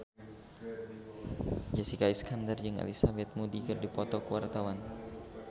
Jessica Iskandar jeung Elizabeth Moody keur dipoto ku wartawan